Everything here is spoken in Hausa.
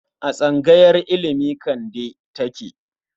A tsangayar ilimi Kande take?